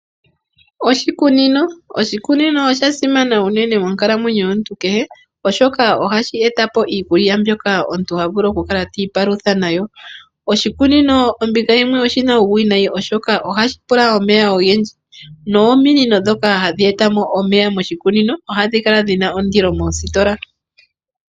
Oshikunino, oshikunino osha simana unene monkalamwenyo yomuntu kehe oshoka ohashi etapo iikulya mbyoka omuntu ha vulu okukala hiipalutha nayo. Oshikunino ombinga yimwe oshina uuwiinayi oshoka ohashi pula omeya ogendji nominino ndhoka hadhk etamo omeya moshikunino ohadhi kala dhjna kndilo moositola.